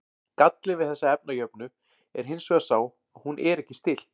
Gallinn við þessa efnajöfnu er hins vegar sá að hún er ekki stillt.